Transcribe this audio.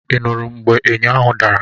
Ị nụrụ mgbe ényò ahụ dara?